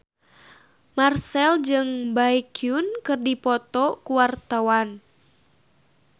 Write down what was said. Marchell jeung Baekhyun keur dipoto ku wartawan